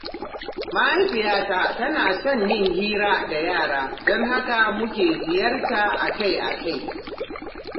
Mahaifiyata tana son yin hira da yara, don haka muke ziyarta akai-akai.